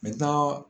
N bɛ taa